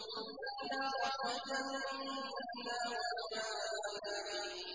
إِلَّا رَحْمَةً مِّنَّا وَمَتَاعًا إِلَىٰ حِينٍ